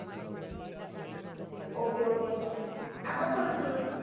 ok ok आगपण पण